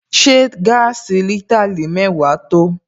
Ṣé gaasi litre mẹ́wàá tó?